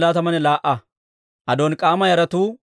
Hashuuma yaratuu 328.